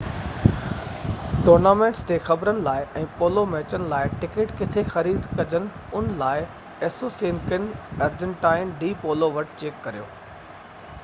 tournaments تي خبرن لاءِ ۽ پولو ميچن لاءِ ٽڪيٽ ڪٿي خريد ڪجن ان لاءِ اسوسيئنيڪن ارجنٽائن ڊي پولو وٽ چيڪ ڪريو